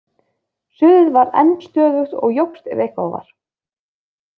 Suðið var enn stöðugt og jókst ef eitthvað var.